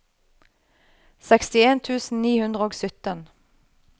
sekstien tusen ni hundre og sytten